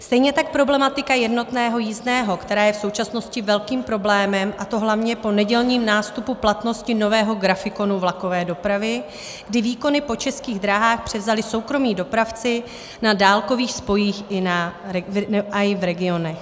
Stejně tak problematika jednotného jízdného, která je v současnosti velkým problémem, a to hlavně po nedělním nástupu platnosti nového grafikonu vlakové dopravy, kdy výkony po Českých drahách převzali soukromí dopravci na dálkových spojích i v regionech.